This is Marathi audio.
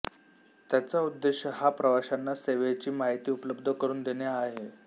त्याचा उद्देश हा प्रवाश्यांना सेवेची माहिती उपलब्ध करून देणे हा आहे